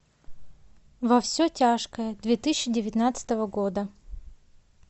во все тяжкое две тысячи девятнадцатого года